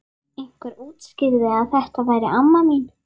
Einhver útskýrði að þetta væri amma mín.